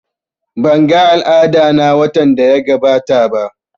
Ban ga al'ada na watan daya gabata ba